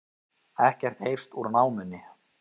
Ekkert heyrst úr námunni